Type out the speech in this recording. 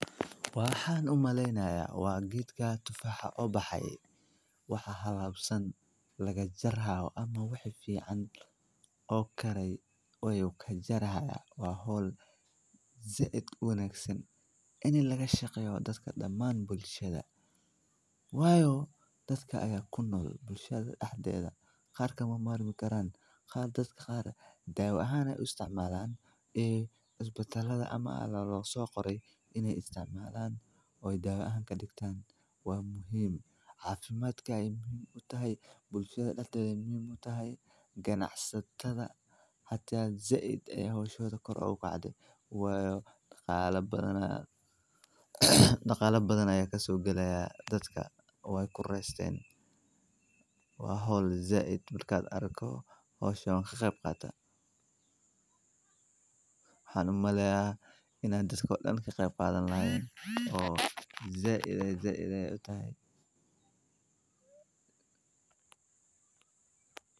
Waxaan u maleynaya waa giidka tufaxa obaxa. Waxaa hadlaabsan laga jarahaw ama wixi fiican oo karay ooyey ka jarahay. Waa hol zeid unaagsan inay laga shaqeeyo dadka dhammaan bulshada. Waayo! Dadkaaga kunoo bulshada ahdeeda qaar ka muuqmaaro mi karaan qaarka dadka qaar daawo ahaan ay isticmaalaan. Iyee asbatanada ama allaaho soo qoray inay isticmaalaan oo ay daawo ahaan ka dhigtaan waa muhiim. Caafimaadka ay muhiim u tahay. Bulshada dhalitada muhiim u tahay ganacsiisadtada. Haddii aad zeid ay hoos u shooda kor caw ka caday. Waayo dhaqaale badanaa. Dhaqaale badanaa ayaa ka soo gelayaa dadka. Way ku reesteen. Waa hol zeid markaad arko hoos u shoo xiray qeyb qaata. Hadu malee inaanu dasko dhin xiraa faahfaahan laheyn. Oh zeid ay zeid ay u tahay.